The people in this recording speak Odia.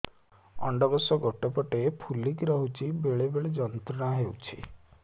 ଅଣ୍ଡକୋଷ ଗୋଟେ ପଟ ଫୁଲିକି ରହଛି ବେଳେ ବେଳେ ଯନ୍ତ୍ରଣା ହେଉଛି